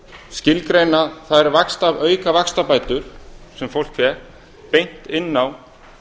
skilgreina þær auka vaxtabætur sem fólk fékk beint inn á